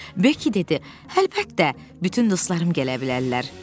Bekki dedi: "Əlbəttə, bütün dostlarım gələ bilərlər."